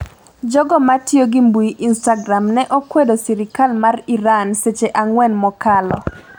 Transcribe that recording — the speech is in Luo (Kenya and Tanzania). Jogo matiyo gi mbui instagram ne okwedo sirikal mar Iran seche ang'wen mokalo